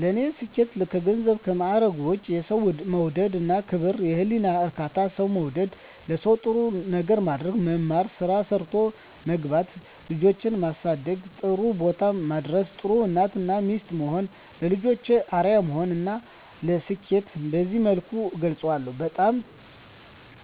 ለኔ ስኬት ከገንዘብና ከማረግ ውጭ፦ የሠው መውደድ እና ክብር፤ የህሊና እርካታ፤ ሠው መውደድ፤ ለሠው ጥሩ ነገር ማድረግ፤ መማር፤ ስራ ሠርቶ መግባት፤ ልጆቼን ማሠደግ ጥሩቦታ ማድረስ፤ ጥሩ እናት እና ሚስት መሆን፤ ለልጆቼ አርያ መሆን ለኔ ስኬትን በዚህ መልኩ እገልፀዋለሁ። በጣም